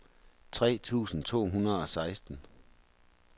tre tusind to hundrede og seksten